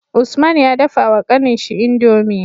Usman ya dafa wa kanin shi indomie